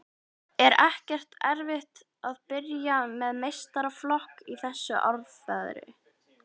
Er ekkert erfitt að byrja með meistaraflokk í þessu árferði?